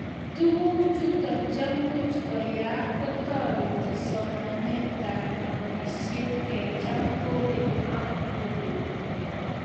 tuguk chuto chemuch keyay kotoreti somanetab nobishet kecham kogeny ak kogeny